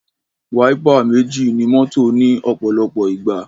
Wáípà méjì ní mọ́tò ní òpòlopò ìgbà